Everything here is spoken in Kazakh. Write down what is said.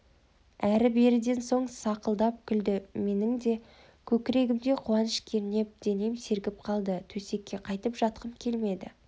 әрі-беріден соң сақылдап күлді менің де көкірегімді қуаныш кернеп денем сергіп қалды төсекке қайтып жатқым келмеді